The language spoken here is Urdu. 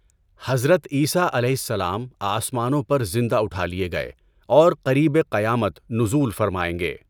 حضرت عیسٰی علیہ السلام آسمانوں پر زندہ اٹھا لئے گئے اور قریبِ قیامت نزول فرمائیں گے۔